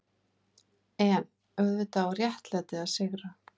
EN auðvitað á réttlætið að sigra.